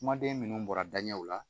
Kumaden minnu bɔra daɲɛw la